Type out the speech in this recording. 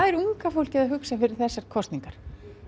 er unga fólkið að hugsa fyrir þessar kosningar